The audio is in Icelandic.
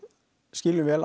skiljum vel